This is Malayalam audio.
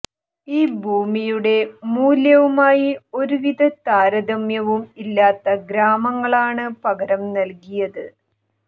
ഈ ഭൂമിയുടെ മൂല്യവുമായി ഒരുവിധ താരതമ്യവും ഇല്ലാത്ത ഗ്രാമങ്ങളാണ് പകരം നല്കിയത്